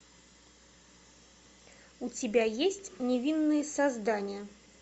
у тебя есть невинные создания